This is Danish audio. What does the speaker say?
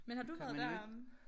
Men har du været deromme?